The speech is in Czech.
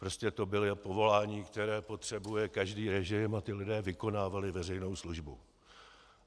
Prostě to bylo povolání, které potřebuje každý režim, a ti lidé vykonávali veřejnou službu.